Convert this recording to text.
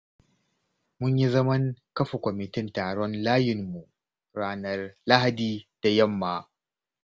Mun yi zaman kafa kwamitin tsaron layinmu ranar lahadi da yamma.